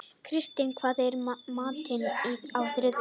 Kristný, hvað er í matinn á þriðjudaginn?